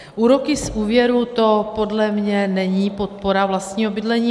Úroky z úvěru, to podle mě není podpora vlastního bydlení.